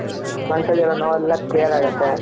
ಮನಸಲ್ಲಿರೋ ನೋವು ಎಲ್ಲ clear ಆಗುತೆ ,